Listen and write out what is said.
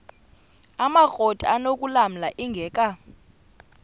amakrot anokulamla ingeka